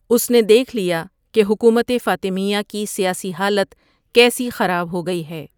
اس نے دیکھ لیا کہ حکومت فاطمیہ کی سیاسی حالت کیسی خراب ہو گئی ہے ۔